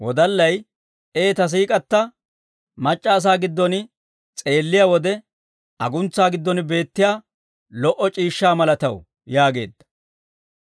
Ee ta siik'k'atta mac'c'a asaa giddon s'eelliyaa wode, aguntsaa giddon beettiyaa lo"o c'iishshaa malataw yaageedda.